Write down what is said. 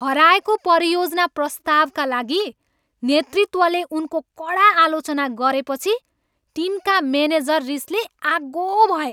हराएको परियोजना प्रस्तावका लागि नेतृत्वले उनको कडा आलोचना गरेपछि टिमका मेनेजर रिसले आगो भए।